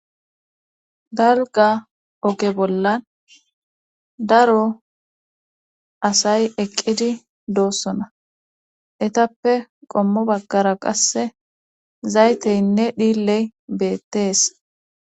dalga oge bollan daro asay eqqidi doossona etappe qommo baggara qasse zayteynne dhilley beettees